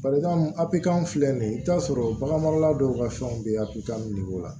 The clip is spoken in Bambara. Balimamu a kan filɛ nin ye i bɛ t'a sɔrɔ bagan marala dɔw ka fɛnw bɛ a pitamini o la